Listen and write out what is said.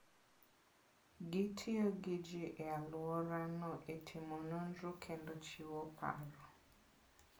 Gitiyo gi ji e alworano e timo nonro kendo chiwo paro.